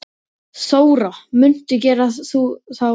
Þóra: Muntu gera þá opinbera?